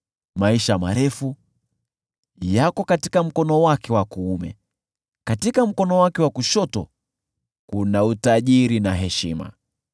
Maisha marefu yako katika mkono wake wa kuume; katika mkono wake wa kushoto kuna utajiri na heshima.